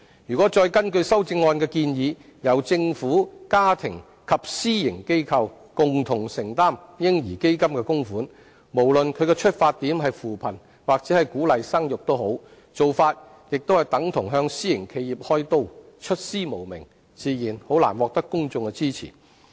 如果再根據修正案的建議，由政府、家庭及私營企業共同承擔"嬰兒基金"的供款，無論基金的出發點是扶貧還是鼓勵生育，做法亦等同向私營企業"開刀"，出師無名，自然難以獲得公眾支持。